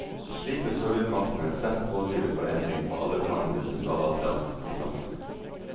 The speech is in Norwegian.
Slik ble sovjetmakten en sterk pådriver for endring på alle plan i det sentralasiatiske samfunnet.